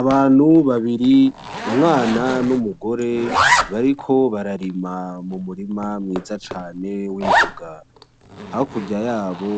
Abantu babiri, umwana n'umugore, bariko bararima m'umurima mwiza cane w'imboga. Hakurya yabo